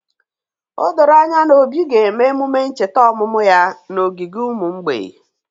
O doro anya na Obi ga-eme emume ncheta ọmụmụ ya n’ogige ụmụ mgbei